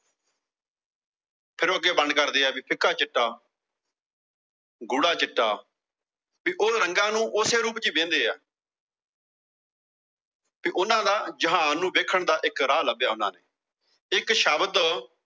ਫਿਰ ਉਹ ਅੱਗੇ ਵੰਡ ਕਰਦੇ ਆ ਵੀ ਫਿੱਕਾ ਚਿੱਟਾ ਗੂੜਾ ਚਿੱਟਾ ਤੇ ਉਹ ਰੰਗਾਂ ਨੂੰ ਓਸੇ ਰੂਪ ਚ ਵਿਹਦੇਂ ਆ ਤੇ ਉਨ੍ਹਾਂ ਦਾ ਜਹਾਨ ਨੂੰ ਦੇਖਣ ਦਾ ਇੱਕ ਰਾਹ ਲੱਭਿਆ ਉਨ੍ਹਾਂ ਨੇ, ਇੱਕ ਸ਼ਬਦ